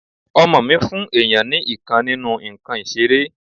ọmọ mí fún èyàn ni ìkan nínú ǹkan ìseré